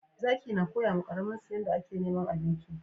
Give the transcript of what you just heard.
Zaki na koya ma karamin su yanda a ke neman abinci